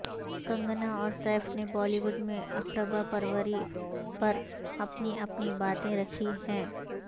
کنگنا اور سیف نے بالی وڈ میں اقربا پروری پر اپنی اپنی باتیں رکھی ہیں